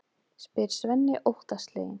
spyr Svenni óttasleginn.